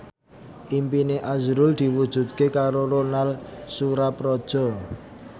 impine azrul diwujudke karo Ronal Surapradja